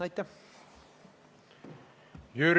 Aitäh!